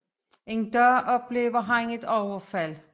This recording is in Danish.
En dag oplever han et overfald